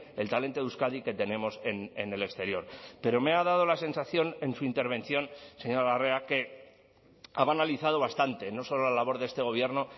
el talento de euskadi que tenemos en el exterior pero me ha dado la sensación en su intervención señora larrea que ha banalizado bastante no solo la labor de este gobierno